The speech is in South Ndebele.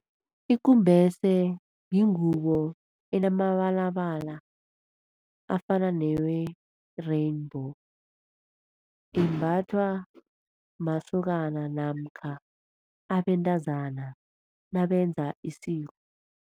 Ikumbese yingubo enamabalabala afana newe-rainbow, imbathwa masokana namkha abentazana nabenza isiko.